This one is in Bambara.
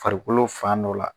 Farikolo fan dɔ la